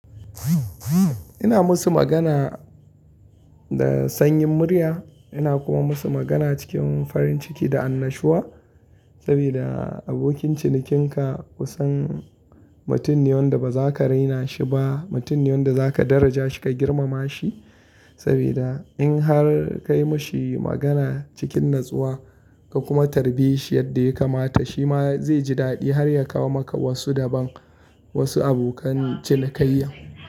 Ina musu magana da sanyin murya ina kuma musu magana cikin farin ciki da annashuwa saboda abokin cinikinka kusan mutumin da ba zaka raina shi ba, mutumin da zaka daraja shi ka girmama shi saboda in har ka yi mashi magana cikin natsuwa ka kuma tarbi shi yadda ya kamata shi ma zai ji daɗi har ya kawo maka wasu daban wasu abokan cinikayya.